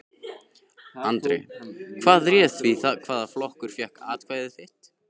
Andri: Hvað réð því hvaða flokkur fékk atkvæði þitt?